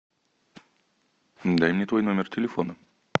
дай мне твой номер телефона